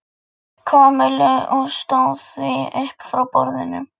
Kamillu og stóð því upp frá borðinu.